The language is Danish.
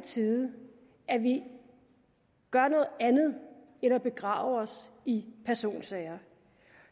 tide at vi gør noget andet end at begrave os i personsager